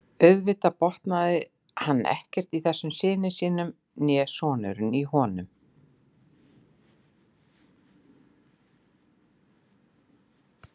Auðvitað botnaði hann ekkert í þessum syni sínum né sonurinn í honum.